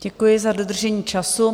Děkuji za dodržení času.